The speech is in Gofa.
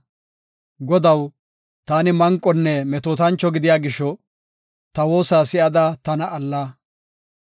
Godaw, taani manqonne metootancho gidiya gisho, ta woosa si7ada tana alla.